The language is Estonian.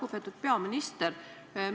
Lugupeetud peaminister!